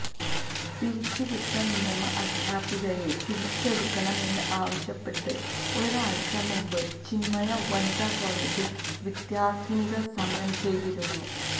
പിരിച്ചു വിട്ട നിയമ അധ്യാപികയെ തിരിച്ചെടുക്കണം എന്ന് ആവശ്യപ്പെട്ട് ഒരാഴ്ച മുന്പ് ചിന്മയ വനിതാ കോളേജില് വിദ്യാര്ത്ഥിനികള് സമരം ചെയ്തിരുന്നു